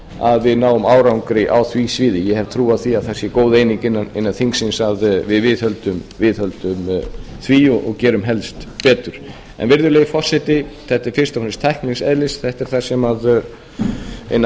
að við náum árangri á því sviði ég hef trú á því að það sé góð eining innan þingsins að við viðhöldum því og gerum helst betur virðulegi forseti þetta er fyrst og fremst tæknilegs eðlis þetta er ein af